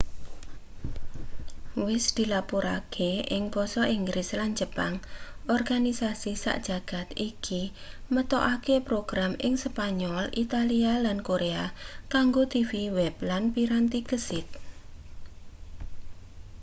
wis dilapurake ing basa inggris lan jepang organisasi sak jagad iki metokake program ing spanyol italia lan korea kanggo tv web lan piranti gesit